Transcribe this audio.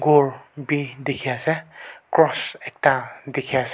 ghor bi dikhiase cross ekta dikhae--